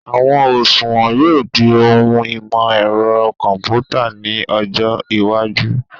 Àwọn òṣùwọ̀n yóò di ohun ìmọ̀ ẹ̀rọ kọ̀mpútà ní ọjọ́ iwájú